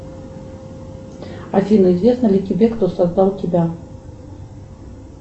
афина известно ли тебе кто создал тебя